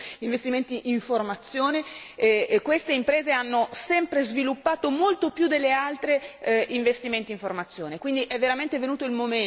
Abbiamo lavorato appunto molto su investimenti in formazione e queste imprese hanno sempre sviluppato molto più delle altre investimenti in formazione.